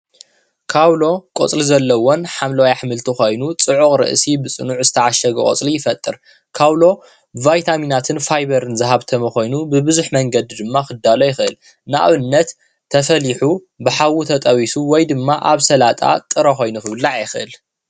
ካዉሎ ቆፅሊ ዘለዎን ሓምለዋይ ኣሕምልቲ ኮይኑ ፅዑቅ ርእሲ ብፅኑዕ ዝተዓሸገ ቆፅሊ ይፈጥር ካዉሎ ቫይታሚናትን ፋይበርን ዝሃፍተመ ብብዙሕ መንገዲ ድማ ክዳሎ ይክእል ንኣብነት ተፈሊሑ ብሓዊ ተጠቢሱ ወይ ድማ ኣብ ስላጣ ጥረ ኮይኑ ክብላዕ ይክእል ።